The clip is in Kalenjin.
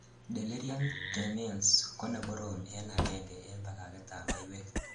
delirium tremens ko ne korom en agengei en bagaget ab maywek